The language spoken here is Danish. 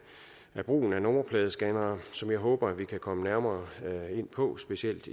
af brugen af nummerpladescannere som jeg håber vi kan komme nærmere ind på specielt